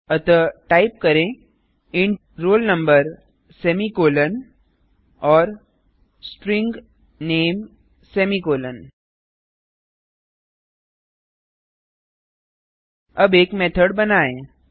अतः टाइप करें int roll number semicolon और स्ट्रिंग nameसेमीकॉलन अब एक मेथड बनाएँ